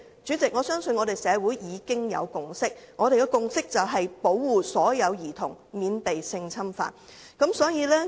主席，我相信社會已有共識，便是保護所有兒童免被性侵犯。